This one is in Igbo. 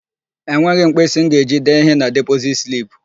Enweghị m mkpịsị m ga-eji dee ihe na depozit slip.